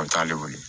An t'ale wele